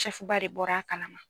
ba de bɔra a kalama.